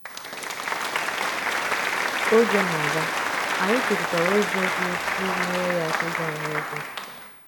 Ka oge na - aga, anyị chepụtara ụzọ ga esi nyere ya aka ịgwa anyị “ okwu. ”